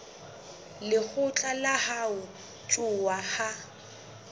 lekgotla la ho ntshuwa ha